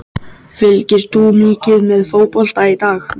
Fylgist þú mikið með fótbolta í dag?